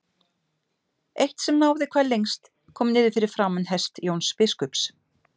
Eitt sem náði hvað lengst kom niður fyrir framan hest Jóns biskups.